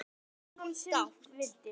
Svo hló hún dátt.